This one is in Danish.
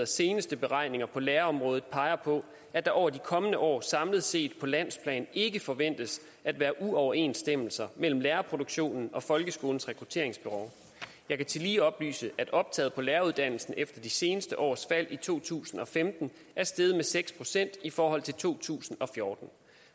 seneste beregninger på lærerområdet peger på at der over de kommende år samlet set på landsplan ikke forventes at være uoverensstemmelser mellem lærerproduktionen og folkeskolens rekrutteringsbehov jeg kan tillige oplyse at optaget på læreruddannelsen efter de seneste års fald i to tusind og femten er steget med seks procent i forhold til to tusind og fjorten